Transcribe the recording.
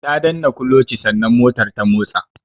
Ta danna kulochi sannan motar ta motsa.